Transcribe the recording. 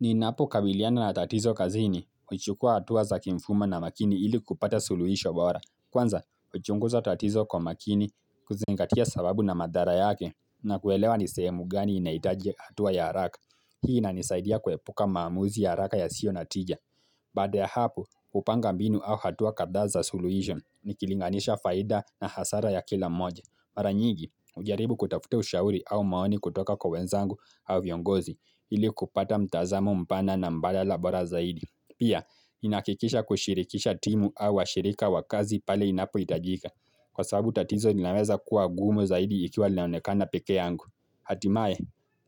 Ninapo kabiliana na tatizo kazini, huchukua hatua za kimfuma na makini ili kupata suluhisho bora. Kwanza, huchunguza tatizo kwa makini kuzingatia sababu na madhara yake na kuelewa ni sehemu gani inahitaji hatua ya haraka. Hii inanisaidia kuepuka maamuzi ya haraka yasiyo na tija. Baada ya hapo, hupanga mbinu au hatua kadhaa za suluhisho, nikilinganisha faida na hasara ya kila moja. Mara nyingi, hujaribu kutafuta ushauri au maoni kutoka kwa wenzangu au viongozi ili kupata mtazamo mpana na mbaghala bora zaidi. Pia, inahakikisha kushirikisha timu au washirika wakazi pale inapo hitajika. Kwa sababu tatizo linaweza kuwa gumu zaidi ikiwa lilaonekana peke yangu. Hatimaye,